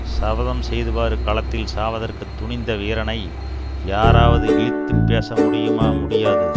சபதம் செய்தவாறு களத்தில் சாவதற்குத் துணிந்த வீரனை யாராவது இழித்துப் பேச முடியுமா முடியாது